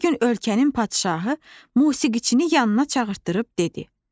Bir gün ölkənin padşahı musiqiçini yanına çağırdırıb dedi: